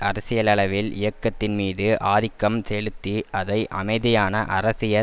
அரசியலளவில் இயக்கத்தின்மீது ஆதிக்கம் செலுத்தி அதை அமைதியான அரசியல்